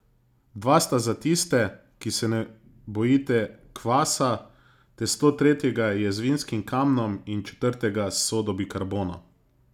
Dva sta za tiste, ki se ne bojite kvasa, testo tretjega je z vinskim kamnom in četrtega s sodo bikarbono.